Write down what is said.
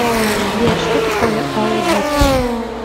сбер что такое аудит